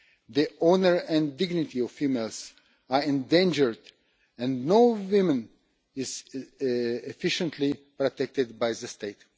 The honour and dignity of females is endangered, and no woman is efficiently protected by the state.